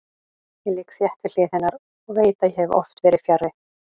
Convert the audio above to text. Ég ligg þétt við hlið hennar og veit að ég hef oft verið fjarri.